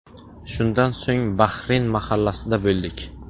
Shundan so‘ng Bahrin mahallasida bo‘ldik.